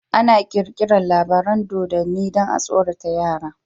Ana kirkirar labaran dodo dan a tsorata yara